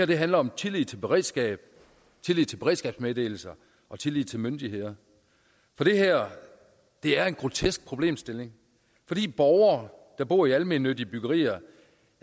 det handler om tillid til beredskab tillid til beredskabsmeddelelser og tillid til myndigheder det her er en grotesk problemstilling fordi borgere der bor i almennyttige byggerier